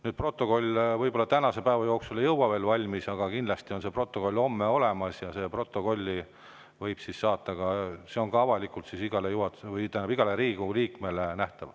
See protokoll ei saa võib-olla tänase päeva jooksul valmis, aga kindlasti on see homme olemas ja avalikult nähtav igale Riigikogu liikmele.